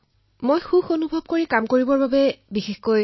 মই খুব সুখী অনুভৱ কৰিছো এই কাম কৰি